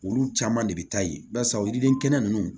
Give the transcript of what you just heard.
Olu caman de bɛ taa ye barisa o yiriden kɛnɛ nunnu